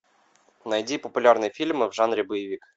найди популярные фильмы в жанре боевик